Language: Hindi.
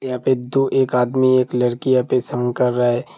यहाँ पर दो एक आदमी एक लड़की कर रहा है।